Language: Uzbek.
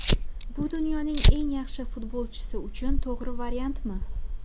Bu dunyoning eng yaxshi futbolchisi uchun to‘g‘ri variantmi?